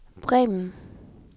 Bremen